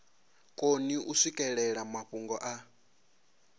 koni u swikelela mafhungo a